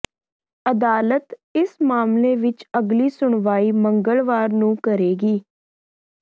ਅਦਾਲਤ ਇਸ ਮਾਮਲੇ ਵਿਚ ਅਗਲੀ ਸੁਣਵਾਈ ਮੰਗਲਵਾਰ ਨੂੰ ਕਰੇਗੀ